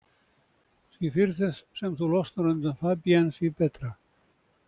Því fyrr sem þú losnar undan Fabienne því betra.